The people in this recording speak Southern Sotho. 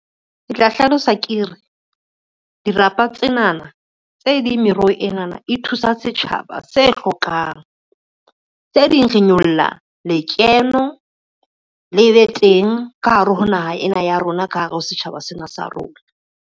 Ke tla hlalosa ke re, dirapa tsenana tse ding meroho enana e thusa setjhaba se hlokang. Tse ding re nyolla lekeno le be teng ka hare ho naha ena ya rona, ka hare ho setjhaba sena sa rona.